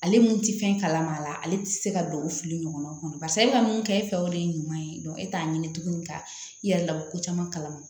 Ale mun ti fɛn kalama a la ale ti se ka don o fili ɲɔgɔn kɔnɔ barisa e be ka mun kɛ e fɛ o de ye ɲuman ye e t'a ɲini tugun ka i yɛrɛ la ko caman kalama